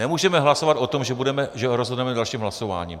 Nemůžeme hlasovat o tom, že rozhodneme dalším hlasováním.